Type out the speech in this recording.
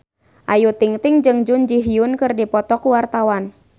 Ayu Ting-ting jeung Jun Ji Hyun keur dipoto ku wartawan